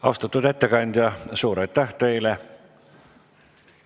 Austatud ettekandja, suur aitäh teile!